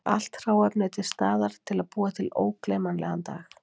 Allt hráefni er til staðar til að búa til ógleymanlegan dag.